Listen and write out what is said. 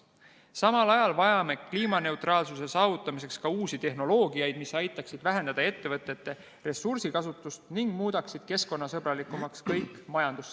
Samal ajal vajame kliimaneutraalsuse saavutamiseks ka uusi tehnoloogiaid, mis aitaksid vähendada ettevõtete ressursikasutust ning muudaksid kõik majandussektorid keskkonnasõbralikumaks.